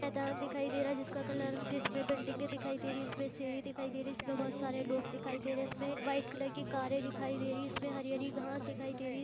मैदान दिखाई दे रहा है जिसका कलर जिसमे बिल्डिंगें दिखाई दे रही है इसमें सीढ़ी दिखाई दे रही है इसमें बहुत सारे लोग दिखाई दे रहे हैं इसमें वाईट कलर की कारे दिखाई दे रही है इसमें हरी हरी घास दिखाई दे रही है।